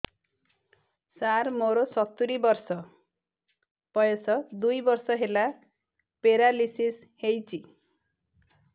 ସାର ମୋର ସତୂରୀ ବର୍ଷ ବୟସ ଦୁଇ ବର୍ଷ ହେଲା ପେରାଲିଶିଶ ହେଇଚି